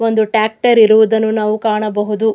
ಒಂದು ಟ್ಯಾಕ್ಟರ್ ಇರುವುದನ್ನು ನಾವು ಕಾಣಬಹುದು.